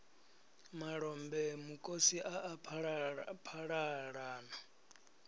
malombe mukosi a a phalalana